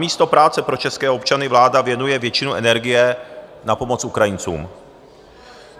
Namísto práce pro české občany vláda věnuje většinu energie na pomoc Ukrajincům.